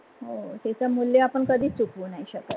हो त्याच मुल्य आपन कधिच चुकवु नहि शकत.